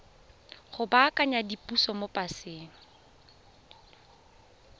go baakanya diphoso mo paseng